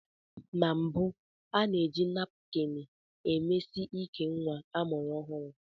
Na mbụ, a na-eji napkini emesi íkè nwa amụrụ ọhụrụ.